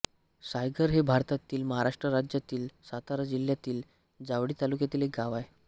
सायघर हे भारतातील महाराष्ट्र राज्यातील सातारा जिल्ह्यातील जावळी तालुक्यातील एक गाव आहे